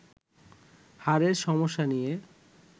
হাড়ের সমস্যা নিয়ে